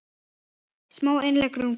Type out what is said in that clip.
Smá innlegg um grát.